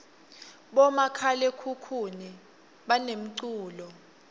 bomakhalakhukhuni banemculo